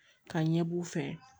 Ka ɲɛ b'u fɛ